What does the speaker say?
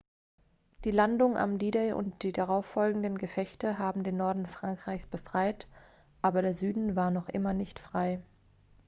die landung am d-day und die darauffolgenden gefechte haben den norden frankreichs befreit aber der süden war noch immer nicht frei